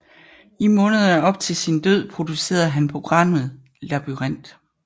I månederne op til sin død producerede han programmet Labyrint